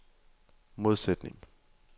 modsætning